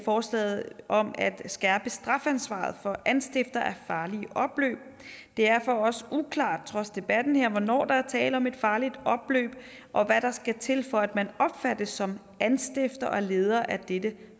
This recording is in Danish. forslaget om at skærpe strafansvaret for anstiftere af farlige opløb det er for os uklart trods debatten her hvornår der er tale om et farligt opløb og hvad der skal til for at man opfattes som anstifter og leder af dette